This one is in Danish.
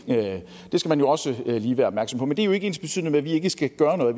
det skal man jo også lige være opmærksom på men det er ikke ensbetydende med at vi ikke skal gøre noget